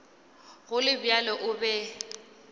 go le bjalo o be